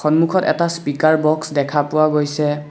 সন্মূখত এটা speaker box দেখা পোৱা গৈছে।